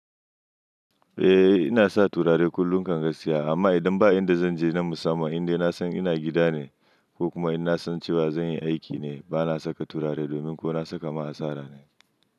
Eh ina sa turare kullum kan gaskiya amma idan ba inda zan je na musamman inda inasan ina gida ne ko kuma in nasan cewa zan yi aiki ne bana saka turare domin ko na saka ma asara ne.